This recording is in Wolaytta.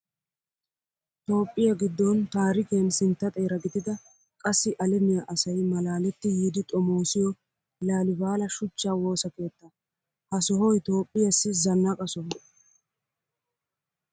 Toophphiyaa giddon taarikiyan sintta xeera gidida qassi alamiyaa asayi malaaletti yiidi xomoosiyoo laalibala shuchchaa wosa keettaa. Ha sohayi Toophphiyaassi zannaqa soho.